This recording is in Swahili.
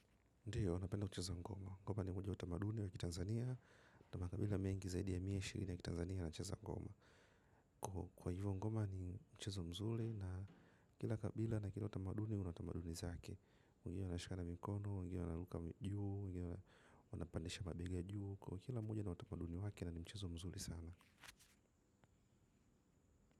Mchezo wa ngoma ngoma ni moja ya utamaduni wa kitanzania ya makabila mengi zaidi ya mia na ishirini ya kitanzania yanacheza ngoma kwa hivyo ngoma ni mchezo mzuri na kila kabila na kila utamaduni, una tamaduni zake, wengine wanashikana mikono wengine wana ruka juu wengine wanapandisha mabega juu kwa hiyo kila mmoja na utamaduni wake lakini ni mchezo mzuri sana.